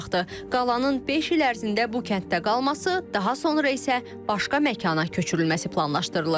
Qalanın beş il ərzində bu kənddə qalması, daha sonra isə başqa məkana köçürülməsi planlaşdırılır.